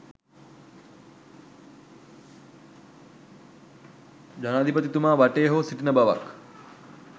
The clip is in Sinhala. ජනාධිපතිතුමා වටේ හෝ සිටින බවක්